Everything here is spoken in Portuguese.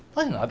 Não morre nada.